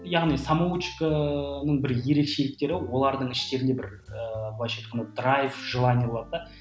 яғни самоучканың бір ерекшеліктері олардың іштерінде бір ы былайша айтқанда драйф желание болады да